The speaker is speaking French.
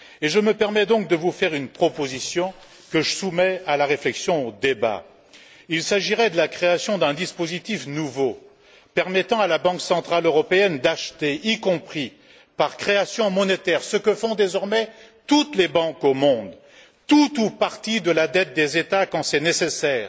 Je me permets donc de vous faire une proposition, que je soumets à la réflexion, au débat il s'agirait de la création d'un dispositif nouveau, permettant à la Banque centrale européenne d'acheter, y compris par création monétaire ce que font désormais toutes les banques au monde tout ou partie de la dette des États quand c'est nécessaire